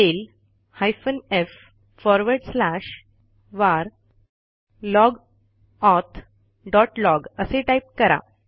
tail space hyphen f space forward slash वर log auth dot log असे type करा